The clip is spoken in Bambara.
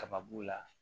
Kaba b'o la